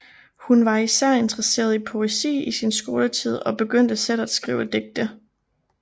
Hun var især interesseret i poesi i sin skoletid og begyndte selv at skrive digte